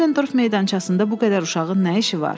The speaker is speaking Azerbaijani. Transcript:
Nolendorf meydançasında bu qədər uşağın nə işi var?